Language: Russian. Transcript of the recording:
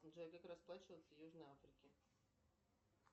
джой как расплачиваться в южной африке